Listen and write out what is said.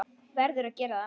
Verður að gera það.